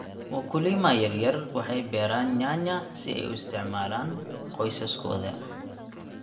Wakulima yaryar waxay beeraan nyanya si ay u isticmaalaan qoysaskooda.